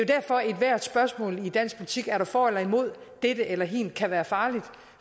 derfor at ethvert spørgsmål i dansk politik er for eller imod dette eller hint kan være farligt